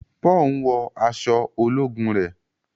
Paul ń wọ aṣọ ológun rẹ.